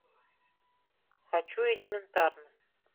хочу элементарно